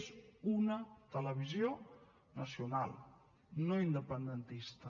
és una televisió nacional no independentista